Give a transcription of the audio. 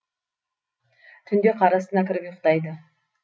түнде қар астына кіріп ұйықтайды